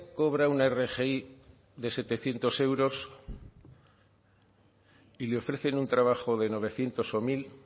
cobra una rgi de setecientos euros y le ofrecen un trabajo de novecientos o mil